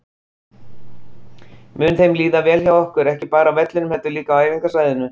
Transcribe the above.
Mun þeim líða vel hjá okkur, ekki bara á vellinum heldur líka á æfingasvæðinu?